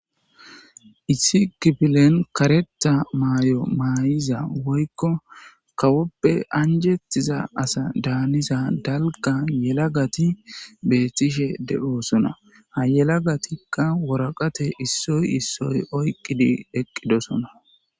Issi kifilen karetha mayuwa mayiza woykko kawoppw anjetiza asa daniza dalga yelagat betishe de'osona, ha yelagatika waraqate issoy issoy oykid eqidosona.